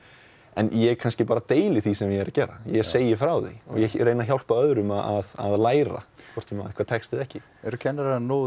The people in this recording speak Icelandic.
ég kannski deili því sem ég er að gera ég segi frá því og reyni að hjálpa öðrum að að læra hvort sem það tekst eða ekki eru kennarar nógu